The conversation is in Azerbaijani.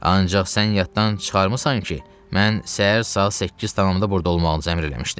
Ancaq sən yaddan çıxarmısan ki, mən səhər saat 8 tamamda burda olmağınızı əmr eləmişdim?